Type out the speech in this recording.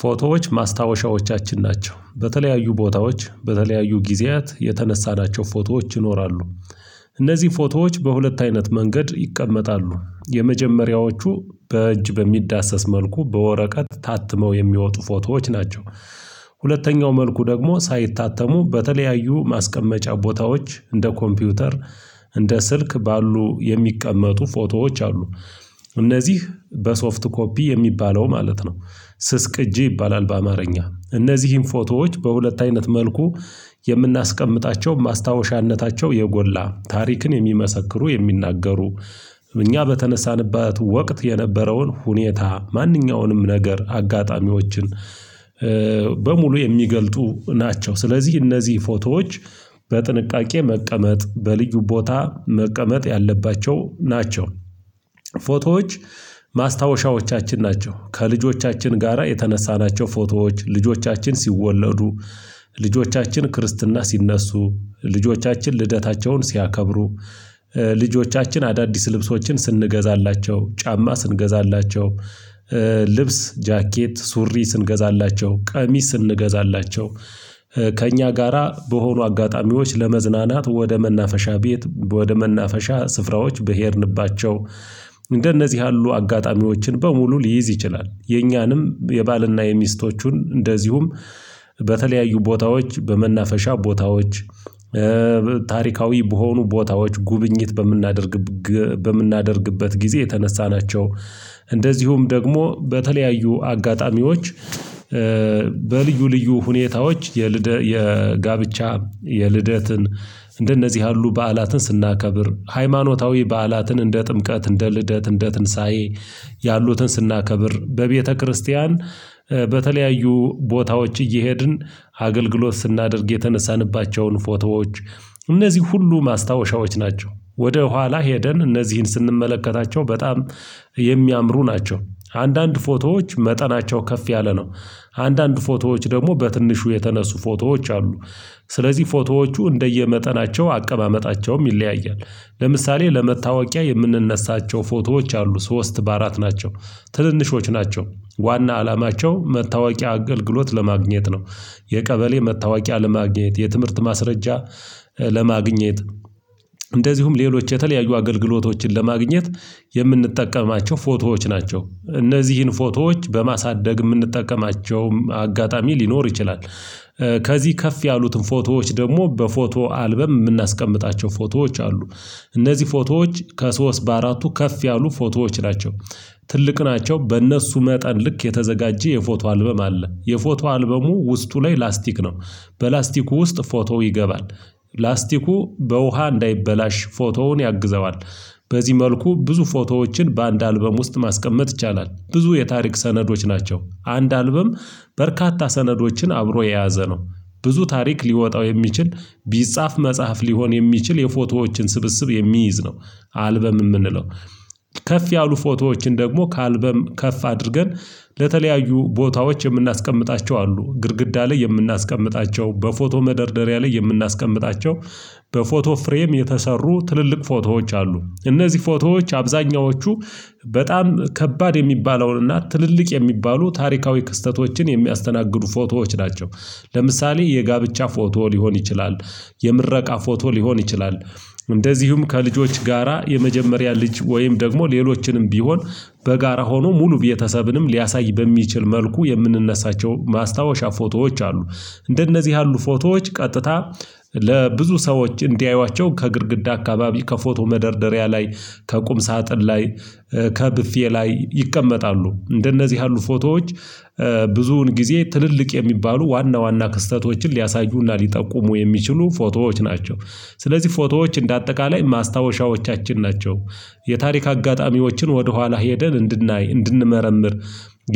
ፎቶዎች ማስታወሻዎቻችን ናቸው። በተለያዩ ቦታዎች በተለያዩ ጊዜያት የተነሳናቸው ፎቶዎች ይኖራሉ። እነዚህ ፎቶዎች በሁለት አይነት መንገድ ይቀመጣሉ። የመጀመሪያዎቹ በእጅ በሚዳሰስ መልኩ በወረቀት ታትመው የሚወጡ ፎቶዎች ናቸው። ሁለተኛው መልኩ ደግሞ ሳይታተሙ በተለያዩ ማስቀመጫ ቦታዎች እንደ ኮምፒውተር እንደ ስልክ ባሉ የሚቀመጡ ፎቶዎች አሉ። እነዚህ በሶፍት ኮፒ የሚባለው ማለት ነው። ስስቅጂ ይባላል በአማርኛ። እነዚህን ፎቶዎች በሁለት አይነት መልኩ የምናስቀምጣቸው ማስታወሻነታቸው የጎላ ታሪክን የሚመሰክሩ የሚናገሩ እኛ በተነሳንባት ወቅት የነበረውን ሁኔታ ማንኛውንም ነገር አጋጣሚዎችን በሙሉ የሚገልጡ ናቸው። ስለዚህ እነዚህ ፎቶዎች በጥንቃቄ መቀመጥ በልዩ ቦታ መቀመጥ ያለባቸው ናቸው። ፎቶዎች ማስታወሻዎቻችን ናቸው። ከልጆቻችን ጋራ የተነሳናቸው ፎቶዎች ልጆቻችን ሲወለዱ ልጆቻችን ክርስትና ሲነሱ ልጆቻችን ልደታቸውን ሲያከብሩ ልጆቻችን አዳዲስ ልብሶችን ስንገዛላቸው ጫማ ስንገዛላቸው ልብስ፣ ጃኬት፣ ሱሪ ስንገዛላቸው ቀሚስ እንገዛላቸው ከእኛ ጋራ በሆኑ አጋጣሚዎች ለመዝናናት ወደ መናፈሻ ቤት ወደ መናፈሻ ስፍራዎች በሄድንባቸው እንደነዚህ ያሉ አጋጣሚዎችን በሙሉ ሊይዝ ይችላል። የኛንም የባልና የሚስቶቹን እንደዚሁም በተለያዩ ቦታዎች በመናፈሻ ቦታዎች ታሪካዊ በሆኑ ቦታዎች ጉብኝት በምናደርግ በምናደርግበት ጊዜ የተነሳናቸው እንደዚሁም ደግሞ በተለያዩ አጋጣሚዎች በልዩ ልዩ ሁኔታዎች የልደት የጋብቻ የልደትን እንደነዚህ ያሉ በዓላትን ስናከብር ሃይማኖታዊ በዓላትን እንደ ጥምቀት እንደ ልደት እንደ ትንሳኤ ያሉትን ስናከብር በቤተክርስቲያን በተለያዩ ቦታዎች እየሄድን አገልግሎት ስናደርግ የተነሳንባቸውን ፎቶዎች እነዚህ ሁሉ ማስታወሻዎች ናቸው። ወደ ኋላ ሄደን እነዚህን ስንመለከታቸው በጣም የሚያምሩ ናቸው። አንዳንድ ፎቶዎች መጠናቸው ከፍ ያለ ነው። አንዳንድ ፎቶዎች ደግሞ በትንሹ የተነሱ ፎቶዎች አሉ። ስለዚህ ፎቶዎቹ እንደየመጠናቸው አቀማመጣቸውም ይለያያል ለምሳሌ ለመታወቂያ የምንነሳቸው ፎቶዎች አሉ ሶስት በአራት ናቸው ትንንሾች ናቸው ዋና አላማቸው መታወቂያ አገልግሎት ለማግኘት ነው የቀበሌ መታወቂያ ለማግኘት የትምህርት ማስረጃ ለማግኘት እንደዚሁም ሌሎች የተለያዩ አገልግሎቶችን ለማግኘት የምንጠቀማቸው ፎቶዎች ናቸው እነዚህን ፎቶዎች በማሳደግ የምንጠቀማቸውም አጋጣሚ ሊኖር ይችላል ከዚህ ከፍ ያሉትን ፎቶዎች ደግሞ በፎቶ አልበም የምናስቀምጣቸው ፎቶዎች አሉ እነዚህ ፎቶዎች ከሶስት በአራቱ ከፍ ያሉ ፎቶዎች ናቸው ትልቅ ናቸው በእነሱ መጠን ልክ የተዘጋጀ የፎቶ አልበም አለ የፎቶ አልበሙ ውስጡ ላይ ላስቲክ ነው በላስቲኩ ውስጥ ፎቶው ይገባል ላስቲኩ በውሃ እንዳይበላሽ ፎቶውን ያግዘዋል በዚህ መልኩ ብዙ ፎቶዎችን በአንድ አልበም ውስጥ ማስቀመጥ ይቻላል ብዙ የታሪክ ሰነዶች ናቸው አንድ አልበም በርካታ ሰነዶችን አብሮ የያዘ ነው ብዙ ታሪክ ሊወጣው የሚችል ቢጻፍ መጽሐፍ ሊሆን የሚችል የፎቶዎችን ስብስብ የሚይዝ ነው አልበም የምንለው ከፍ ያሉ ፎቶዎችን ደግሞ ከአልበም ከፍ አድርገን ለተለያዩ ቦታዎች የምናስቀምጣቸው አሉ ግድግዳ ላይ የምናስቀምጣቸው በፎቶ መደርደሪያ ላይ የምናስቀምጣቸው በፎቶ ፍሬም የተሰሩ ትልልቅ ፎቶዎች አሉ እነዚህ ፎቶዎች አብዛኛዎቹ በጣም ከባድ የሚባለውን ትልልቅ የሚባሉ ታሪካዊ ክስተቶችን የሚያስተናግዱ ፎቶዎች ናቸው ለምሳሌ የጋብቻ ፎቶ ሊሆን ይችላል የምረቃ ፎቶ ሊሆን ይችላል እንደዚሁም ከልጆች ጋራ የመጀመሪያ ልጅ ወይም ደግሞ ሌሎችንም ቢሆን በጋራ ሆኖ ሙሉ ቤተሰብንም ሊያሳይ በሚችል መልኩ የምንነሳቸው ማስታወሻ ፎቶዎች አሉ እንደነዚህ ያሉ ፎቶዎች ቀጥታ ለብዙ ሰዎች እንዲያዩዋቸው ከግድግዳ አካባቢ ከፎቶ መደርደሪያ ላይ ከቁም ሳጥን ላይ ከብፌ ላይ ይቀመጣሉ እንደነዚህ ያሉ ፎቶዎች ብዙውን ጊዜ ትልልቅ የሚባሉ ዋና ዋና ክስተቶችን ሊያሳዩና ሊጠቁሙ የሚችሉ ፎቶዎች ናቸው ስለዚህ ፎቶዎች እንደ አጠቃላይ ማስታወሻዎቻችን ናቸው የታሪክ አጋጣሚዎችን ወደኋላ ሄደን እንድናይ እንድንመረምር